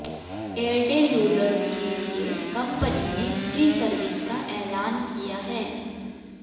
Airtel users के लिए company ने फ्री सर्विस का ऐलान किया है